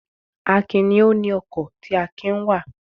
Akin ni ó ni ọkọ̀ tí Akin ń wà.